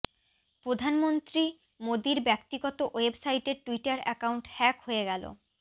প্রধানমন্ত্রী মোদির ব্যক্তিগত ওয়েবসাইটের টুইটার অ্যাকাউন্ট হ্যাক হয়ে গেল